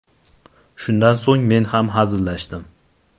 Shundan so‘ng men ham hazillashdim.